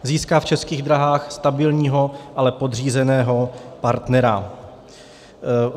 Získá v Českých dráhách stabilního, ale podřízeného, partnera.